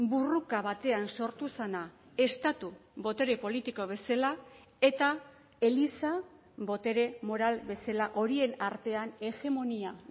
borroka batean sortu zena estatu botere politiko bezala eta eliza botere moral bezala horien artean hegemonia